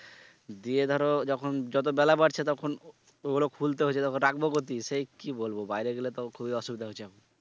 দিয়ে ধরো যখন যত বেলা বাড়ছে তখন ওগুলো খুলতে হচ্ছে তখন রাখবো সেই কি বলবো বাইরে গেলে তো খুবই অসুবিধা হচ্ছে এখন।